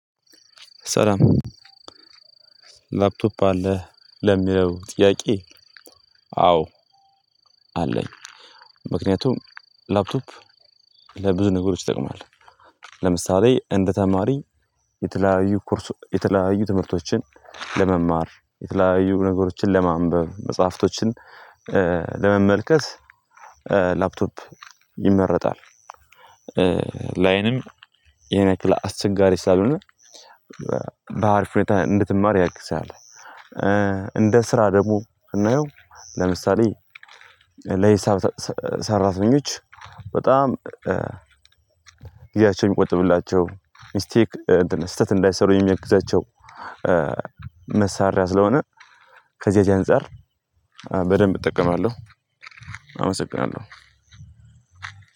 ሰላም! ላፕቶፕ አለህ? ለሚለው ጥያቄ አዎ! አለኝ። ምክንያቱም ላፕቶፕ ለብዙ ነገሮች ይጠቅማል። ለምሳሌ እንደ ተማሪ የተለያዩ የተለያዩ ትምህርቶችን ለመማር፣ የተለያዩ ነገሮችን ለማንበብ፣ መጽሐፍቶችን ለመመልከት ላፕቶፕ ይመረጣል። ለአይንም ይሄን ያክል አስቸጋሪ ስላልሆነ በአሪፍ ሁኔታ እንድትማር ያግዝሃል። እንደ ስራ ደግሞ ስናየው፤ ለምሳሌ ለሂሳብ ሰራተኞች በጣም ጊዜያቸው እንዲቆጥብላቸው፣ ሚስቴክ እንትን ስህተት እንዳይሰሩ የሚያግዛቸው መሳሪያ ስለሆነ ከዚያች አንፃር በደንብ እጠቀማለሁ። አመሰግናለሁ!